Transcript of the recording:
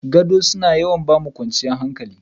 Gado suna yawan ba mu kwanciyar hankali.